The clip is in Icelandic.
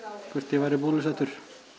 hvort ég væri bólusettur